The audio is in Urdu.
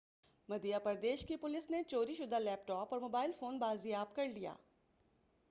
مدھیہ پردیش کی پولیس نے چوری شدہ لیپ ٹاپ اور موبائل فون بازیاب کر لیا